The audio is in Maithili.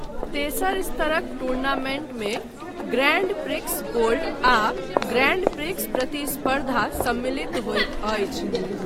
तेसर स्तरक टूर्नामेंटमे ग्रैंड प्रिक्स गोल्ड आ ग्रैंड प्रिक्स प्रतिस्पर्धा सम्मिलित होइत अछि।